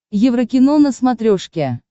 еврокино на смотрешке